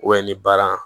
ni baara